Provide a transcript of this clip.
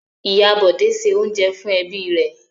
Ìyá Bọ̀dé se oúnjẹ fún ẹbí rẹ̀.